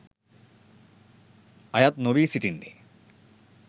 අයත් නොවී සිටින්නේ.